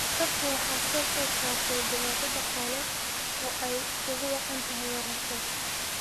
Dadka waxaa soo food saartay dhibaato dhaqaale oo ay ugu wacan tahay waraabka.